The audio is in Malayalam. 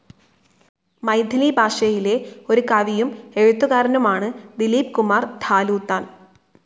മൈഥിലി ഭാഷയിലെ ഒരു കവിയും എഴുത്തുകാരനുമാണ് ദിലീപ്കുമാർ ഝാ ലൂത്താൻ.